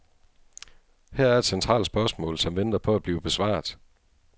Her er et centralt spørgsmål, som venter på at blive besvaret.